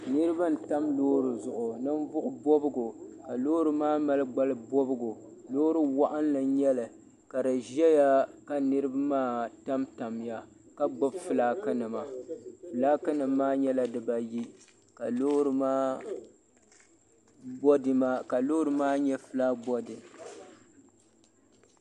Niriba n tam loori zuɣu ninvuɣu bɔbgu ka loori maa mali gbali bɔbgu loori waɣinli ka di ʒɛya ka niriba maa tam tam ya ka gbubi filaaki nima filaaki nima maa nyɛla di baa ayi ka loori maa nyɛ filaat bɔdi.